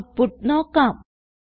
output നോക്കാം